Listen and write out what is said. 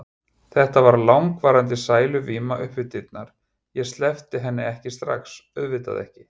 Þetta varð langvarandi sæluvíma upp við dyrnar, ég sleppti henni ekki strax, auðvitað ekki.